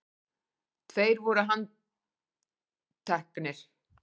Tveir voru handtekni